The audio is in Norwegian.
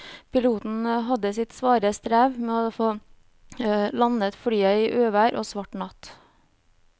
Piloten hadde sitt svare strev med å få landet flyet i uvær og svart natt.